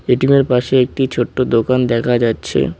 ATM এর পাশে একটি ছোট্ট দোকান দেখা যাচ্ছে।